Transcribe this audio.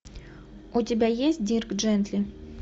у тебя есть дирк джентли